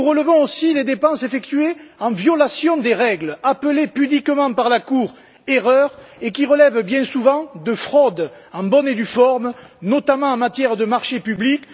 Nous relevons aussi les dépenses effectuées en violation des règles, appelées pudiquement par la Cour erreurs, qui relèvent bien souvent de fraudes en bonne et due forme, notamment en matière de marchés publics.